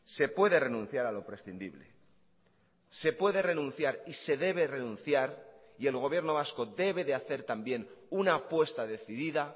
se puede renunciar a lo prescindible se puede renunciar y se debe renunciar y el gobierno vasco debe de hacer también una apuesta decidida